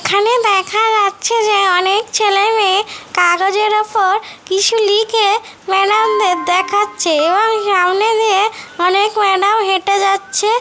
এখানে দেখা যাচ্ছে যে অনেক ছেলেমেয়ে কাগজের উপর কিছু লিখে ম্যাডাম -দের দেখাচ্ছে এবং সামনে দিয়ে অনেক ম্যাডাম হেঁটে যাচ্ছে।